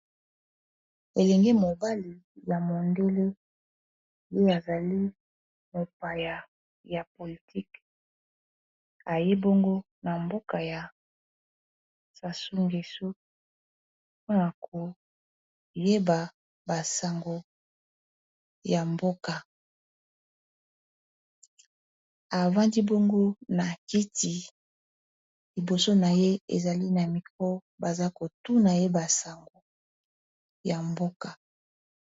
elenge mobale ya mondele yoi azali mopaya ya politike ayebongo na mboka ya sasungesu mpona koyeba basango ya mboka avandi bongo na kiti liboso na ye ezali na mikro baza kotuna ye basango ya mboka